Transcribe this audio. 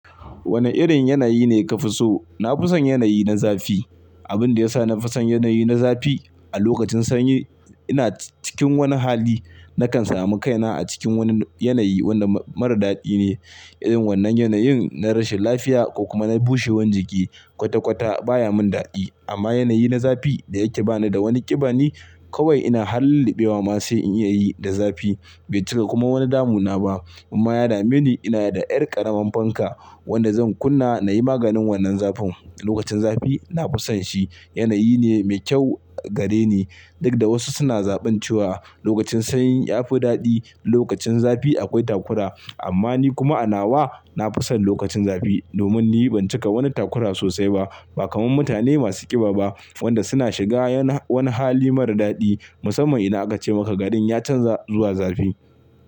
Wane irin yanayi ne ka fi so? Na fi son yanayi na zafi. Abin da ya sa na fi son yanayi na zafi, a lokacin sanyi ina cikin wani hali nakan samu kaina a cikin wani yanayi wadda mara daɗi ne. Irin wannan yanayin na rashin lafiya ko kuma na bushewan jiki, kwata-kwata baya mun dadi. Amma yanayi na zafi da yake ba ni da wani ƙiba ne, kawai ina har lilliɓewa ma sai in iya yi da zafi. Bai cika kuma wani damu na ba. Amma yada mini ina da ƴar ƙaraman fanka wadda zan kunna na yi maganin wannan zafin. Lokacin zafi na fi son shi, yanayi ne me kyau gare ni. Duk da wasu suna zaɓin cewa lokacin sanyi yafi daɗi, lokacin zafi akwai takura. Amma ni kuma a nawa na fi son lokacin zafi domin ni ban cika wani takura sosai ba. Ba kamar mutane masu ƙiba ba wadda suna shiga wani hali mara daɗi musamman ina aka ce maka gadin ya canza zuwa zafi.